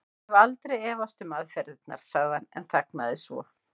Ég hef aldrei efast um aðferðirnar. sagði hann en þagnaði svo.